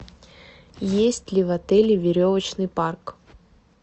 есть ли в отеле веревочный парк